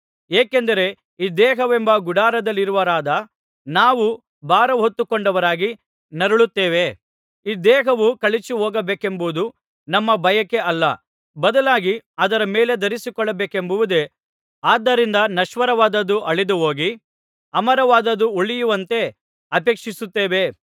ಏಕೆಂದರೆ ಈ ದೇಹವೆಂಬ ಗುಡಾರದಲ್ಲಿರುವವರಾದ ನಾವು ಭಾರಹೊತ್ತುಕೊಂಡವರಾಗಿ ನರಳುತ್ತೇವೆ ಈ ದೇಹವು ಕಳಚಿಹೋಗಬೇಕೆಂಬುದು ನಮ್ಮ ಬಯಕೆ ಅಲ್ಲ ಬದಲಾಗಿ ಅದರ ಮೇಲೆ ಧರಿಸಿಕೊಳ್ಳಬೇಕೆಂಬುದೇ ಆದ್ದರಿಂದ ನಶ್ವರವಾದದ್ದು ಅಳಿದುಹೋಗಿ ಅಮರವಾದದ್ದು ಉಳಿಯುವಂತೆ ಅಪೇಕ್ಷಿಸುತ್ತೇವೆ